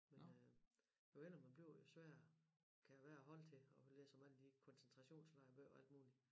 Men øh jo ældre man bliver jo sværere kan det være at holde til at læse om alle de koncentrationslejre og alt muligt